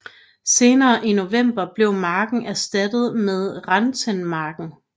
Senere i november blev marken erstattet med Rentenmarken